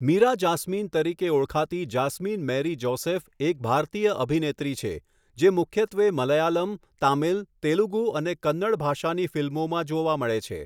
મીરા જાસ્મીન તરીકે ઓળખાતી જાસ્મીન મેરી જોસેફ એક ભારતીય અભિનેત્રી છે, જે મુખ્યત્વે મલયાલમ, તામિલ, તેલુગુ અને કન્નડ ભાષાની ફિલ્મોમાં જોવા મળે છે.